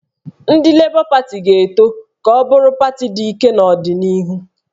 Ndị Lebọ Pati ga-eto ka ọ bụrụ pati dị ike n'ọdịnihu